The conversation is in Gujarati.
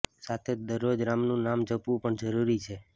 સાથે જ દરરોજ રામનું નામ જપવું પણ જરૂરી છે